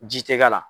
Ji tɛ k'a la